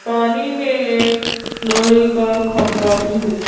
पानी में एक लोहे का खंबा भी है।